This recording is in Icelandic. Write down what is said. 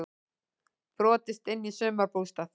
Brotist inn í sumarbústað